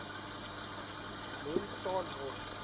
mens staan mos